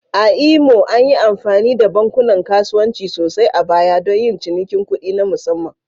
A Imo, an yi amfani da bankunan kasuwanci sosai a baya don yin cinikin kuɗi na musamman